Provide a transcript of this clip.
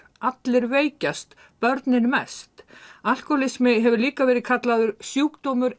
allir veikjast börnin mest alkóhólismi hefur líka verið kallaður sjúkdómur